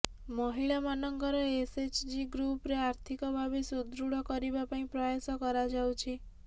ମହିଳାମାନଙ୍କ ଏସ୍ଏଚ୍ଜି ଗ୍ରୁପ୍କୁ ଆର୍ଥିକ ଭାବେ ସୁଦୃଢ଼ କରିବା ପାଇଁ ପ୍ରୟାସ କରାଯାଉଛି